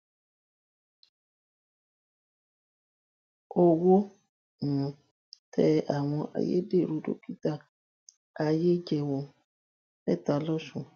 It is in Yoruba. owó um tẹ àwọn ayédèrú dókítà ayéjẹwò mẹta lọsùn